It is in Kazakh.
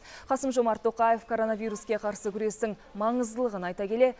қасым жомарт тоқаев коронавируске қарсы күрестің маңыздылығын айта келе